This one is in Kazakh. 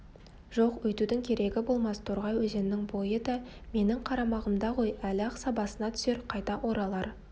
жоқ өйтудің керегі болмас торғай өзенінің бойы да менің қарамағымда ғой әлі-ақ сабасына түсер қайта оралар